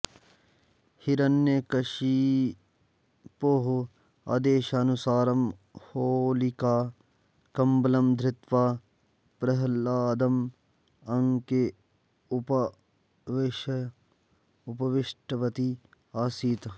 हिरण्यकषिपोः आदेशानुसारं होलिका कम्बलं धृत्वा प्रह्लादम् अङ्के उपावेश्य उपविष्टवती आसीत्